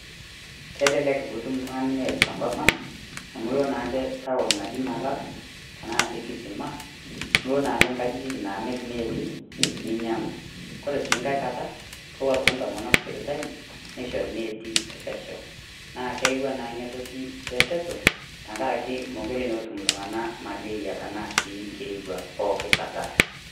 Kelelek piitum iltung'ani neet te nkopang amu loo naake taon naji maara tana sii kisima niloo naake nkajijik namiir neeti ninyang'u. Kore sii nkaai nkaata koo apake ntomonok sipitali neishori neeti e peshaau. Naa keyeua naa enia ntoki reteto tang'araki mekoree naa otum iltung'ana malerie tanaa sii nkirewua poo kataa.